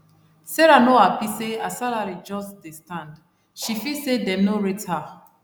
sarah no happy say her salary just dey stand she feel say dem no rate her